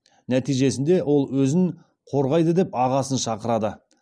нәтижесінде ол өзін қорғайды деп ағасын шақырады